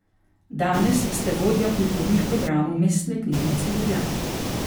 Danes ste vodja kulturnih programov Mestne knjižnice Ljubljana.